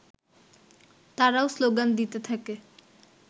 তারাও স্লোগান দিতে থাকে